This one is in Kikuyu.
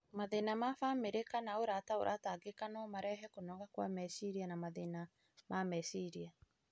Mathĩna ma bamĩrĩ kana ũrata ũratangĩka no marehe kũnoga kwa meciria na mathĩna ma meciria.